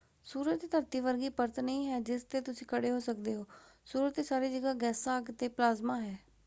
ਸੂਰਜ ਤੇ ਧਰਤੀ ਵਰਗੀ ਪਰਤ ਨਹੀਂ ਹੈ ਜਿਸ ਤੇ ਤੁਸੀਂ ਖੜੇ ਹੋ ਸਕਦੇ ਹੋ। ਸੂਰਜ ਤੇ ਸਾਰੀ ਜਗ੍ਹਾਂ ਗੈਸਾਂ ਅੱਗ ਅਤੇ ਪਲਾਜ਼ਮਾ ਹੈ।